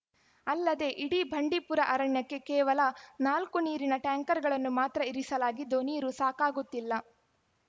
ಅಲ್ಲದೆ ಇಡೀ ಬಂಡೀಪುರ ಅರಣ್ಯಕ್ಕೆ ಕೇವಲ ನಾಲ್ಕು ನೀರಿನ ಟ್ಯಾಂಕರ್‌ಗಳನ್ನು ಮಾತ್ರ ಇರಿಸಲಾಗಿದ್ದು ನೀರು ಸಾಕಾಗುತ್ತಿಲ್ಲ